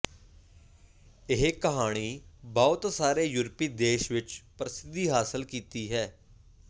ਇਹ ਕਹਾਣੀ ਬਹੁਤ ਸਾਰੇ ਯੂਰਪੀ ਦੇਸ਼ ਵਿਚ ਪ੍ਰਸਿੱਧੀ ਹਾਸਲ ਕੀਤੀ ਹੈ